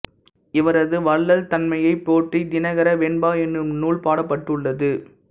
இவரது வள்ளல் தன்மையைப் போற்றித் தினகர வெண்பா என்னும் நூல் பாடப்பட்டுள்ளது